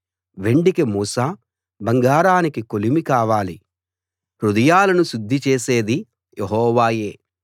వెండికి మూస బంగారానికి కొలిమి కావాలి హృదయాలను శుద్ధి చేసేది యెహోవాయే